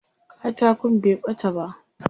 Katakon bai ɓata ba.